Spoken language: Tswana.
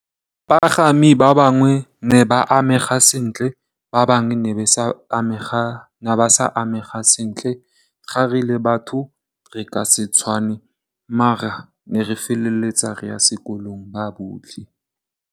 Bapagami ba bangwe ne ba amegile sentle ba bangwe ne ba sa amega sentle, ga re le batho re ka se tshwane maar ne re feleletsa re ya sekolong ba botlhe.